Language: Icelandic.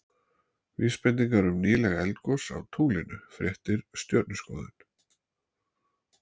Vísbendingar um nýleg eldgos á tunglinu Fréttir Stjörnuskoðun.